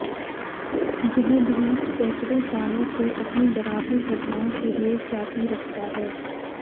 यह द्वीप सैकड़ों साल से अपनी डरावनी घटनाओं के लिए ख्याति रखता है